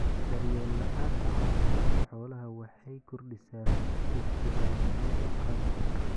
Daryeel la'aanta caafimaadka xoolaha waxay kordhisaa suurtagalnimada caabuqa.